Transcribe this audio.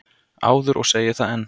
áður og segi það enn.